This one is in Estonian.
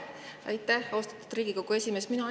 Aitäh, austatud Riigikogu esimees!